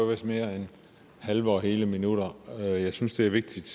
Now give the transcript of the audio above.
vist mere end halve og hele minutter jeg synes det er vigtigt